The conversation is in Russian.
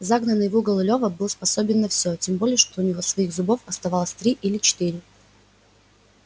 загнанный в угол лёва был способен на всё тем более что у него своих зубов оставалось три или четыре